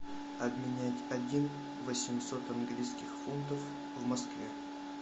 обменять один восемьсот английских фунтов в москве